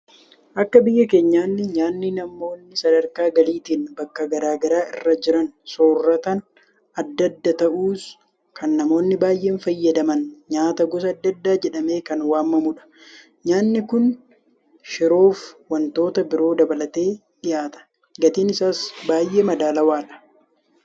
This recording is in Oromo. Akka biyya keenyaanni nyaanni namoonni sadarkaa galiitiin bakka garaa garaa irra jiran soorratan adda adda ta'us; Kan namoonni baay'een fayyadaman nyaata gosa adda addaa jedhamee kan waamamudha. Nyaanni kun shiroofi waantota biroo dabalatee dhiyaata. Gatiin isaas baay'ee madaalawaadha.